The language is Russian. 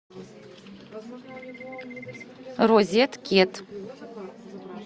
розеткед